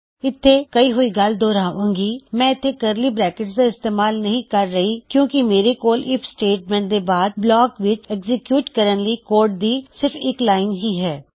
ਹਿਲੇ ਸਇੱਖੀ ਹੋਈ ਗਲ ਦੋਹਰਾੰਦੇ ਹਾਂ ਮੈਂ ਇੱਥੇ ਕਰਲੀ ਬਰੈਕਟਸ ਦਾ ਇਸਤੇਮਾਲ ਨਹੀ ਕਰ ਰਿਹਾ ਕਿਉਂ ਕਿ ਮੇਰੇ ਕੋਲ ਆਈਐਫ ਸਟੇਟਮੈਂਟ ਤੋਂ ਬਾਆਦ ਬਲਾਕ ਵਿੱਚ ਐਗਜੀਕਯੂਟ ਕਰਣ ਲਈ ਕੋਡ ਦੀ ਸਿਰਫ ਇੱਕ ਲਾਇਨ ਹੀ ਹੈ